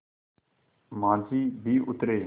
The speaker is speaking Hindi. माँझी भी उतरे